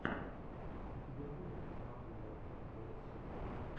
у тебя будет маклемор эл эл си